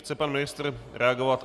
Chce pan ministr reagovat?